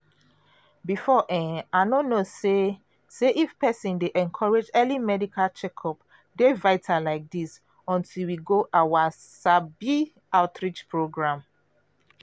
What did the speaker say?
before um i no know say say if persin dey encourage early medical checkup dey vital like this until we go our um outreach program.